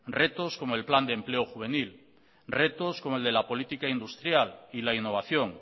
retos como el plan de empleo juvenil retos como el de la política industrial y la innovación